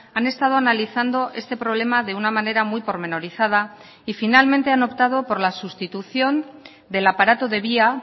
han estado analizando este problema de una manera muy pormenorizada y finalmente han optado por la sustitución del aparato de vía